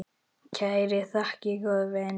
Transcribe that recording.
Kærar þakkir, góði vinur.